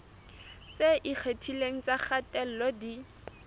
tse ikgethileng tsa kgatello di